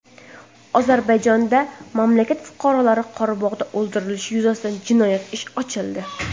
Ozarbayjonda mamlakat fuqarolari Qorabog‘da o‘ldirilishi yuzasidan jinoyat ishi ochildi.